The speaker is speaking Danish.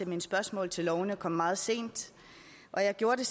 mine spørgsmål til lovene kom meget sent jeg gjorde det